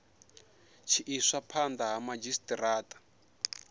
tshi iswa phanda ha madzhisitarata